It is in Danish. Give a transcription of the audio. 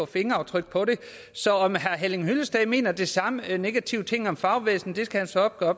fingeraftryk på det så om herre henning hyllested mener de samme negative ting om fagbevægelsen skal han så gøre